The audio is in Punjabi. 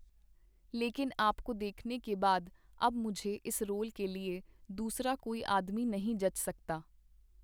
ਲੇਕੀਨ ਆਪਕੋ ਦੇਖਨੇ ਕੇ ਬਾਦ ਅਬ ਮੁਝੇ ਇਸ ਰੋਲ ਕੇ ਲੀਏ ਦੂਸਰਾ ਕੋਈ ਆਦਮੀ ਨਹੀਂ ਜਚ ਸਕਤਾ.